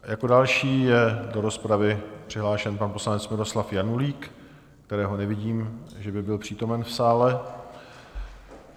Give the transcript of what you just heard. Jako další je do rozpravy přihlášen pan poslanec Miloslav Janulík, kterého nevidím, že by byl přítomen v sále.